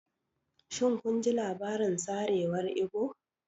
Shin kun ji labarin sarewar Igbo?